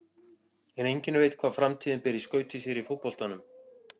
En enginn veit hvað framtíðin ber í skauti sér í fótboltanum.